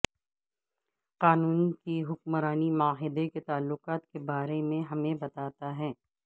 قانون کی حکمرانی معاہدے کے تعلقات کے بارے میں ہمیں بتاتا ہے